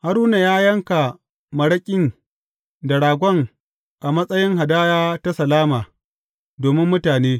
Haruna ya yanka maraƙin da ragon a matsayin hadaya ta salama domin mutane.